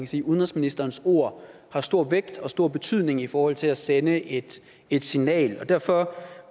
sige at udenrigsministerens ord har stor vægt og stor betydning i forhold til at sende et et signal og derfor